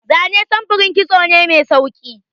Zane samfurin kitso ne mai sauki.